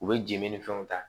U bɛ jeli ni fɛnw ta